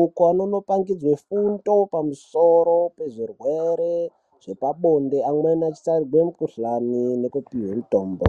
uko anondopangidzwa fundo pamusoro pezvirwere zvepabonde amweni achitarirwa mukuhlani nekupihwa mitombo.